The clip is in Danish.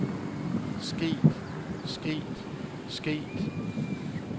sket sket sket